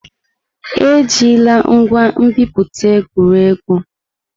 Ejila ngwa nbipute egwu egwu!